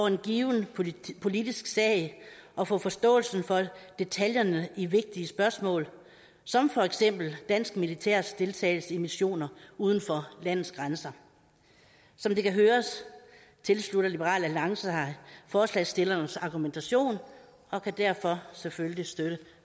en given en politisk sag og få forståelsen for detaljerne i vigtige spørgsmål som for eksempel dansk militærs deltagelse i missioner uden for landets grænser som det kan høres tilslutter liberal alliance sig forslagsstillernes argumentation og kan derfor selvfølgelig støtte